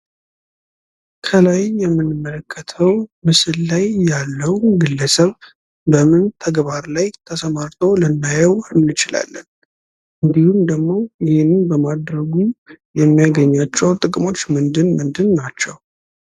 ከላይ የምንመለከተው ምስል ላይ ያለው ግለሰብ በምን ተግባር ላይ ተሰማርቶ ልናየው እንችላለን። እንዲሁም ደግሞ ይህንን በማድረጉ የሚያገኛቸው ጥቅሞች ምንድን ናቸው?